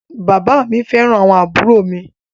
Bàbá à mi fẹ́ràn àwọn àbúrò mi.